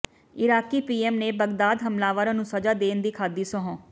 Iraqi PM ਨੇ Baghdad ਹਮਲਾਵਰਾਂ ਨੂੰ ਸਜ਼ਾ ਦੇਣ ਦੀ ਖਾਧੀ ਸਹੁੰ